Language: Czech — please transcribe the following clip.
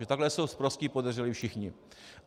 Že takhle jsou sprostí podezřelí všichni.